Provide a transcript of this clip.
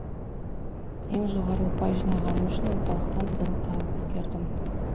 ең жоғары ұпай жинағаным үшін орталықтан сыйлық та алып үлгердім